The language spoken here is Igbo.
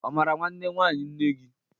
Ọ mara nwanne nwaanyị nne gị?